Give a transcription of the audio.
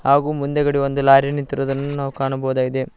ಹಾಗು ಮುಂದೆಗಡೆ ಒಂದು ಲಾರಿ ನಿಂತಿರುವುದನ್ನು ನಾವು ಕಾಣಬಹುದಾಗಿದೆ.